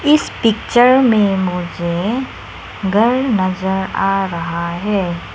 इस पिक्चर में मुझे घर नजर आ रहा है।